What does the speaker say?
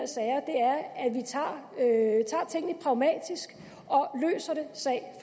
sager er at vi tager tingene pragmatisk og løser dem sag